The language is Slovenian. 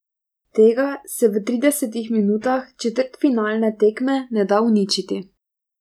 Tega se v tridesetih minutah četrtfinalne tekme ne da uničiti.